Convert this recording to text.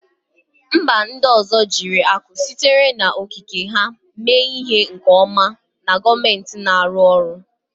Mba ndị ọzọ jiri akụ sitere n'okike ha mee ihe nke ọma na gọọmentị na-arụ ọrụ